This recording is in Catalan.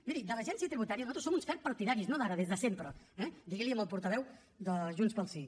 miri de l’agència tributària nosaltres en som uns ferms partidaris no d’ara des de sempre eh digui li ho al portaveu de junts pel sí